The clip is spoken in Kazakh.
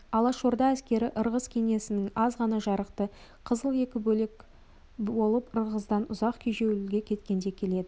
алашорда әскері ырғыз кеңесінің аз ғана жарақты қызыл екі бөлек болып ырғыздан ұзақ кежеуілге кеткенде келеді